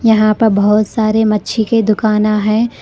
यहां पर बहुत सारे मच्छी के दुकाना है।